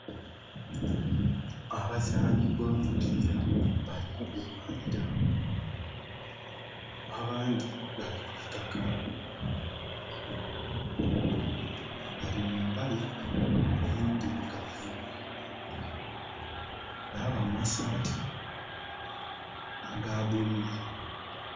Abazanhi bo mupira bali kugulwanhira, abandhi bali kwitaka, bali mumpale endhirugavu na masaati aga bululu.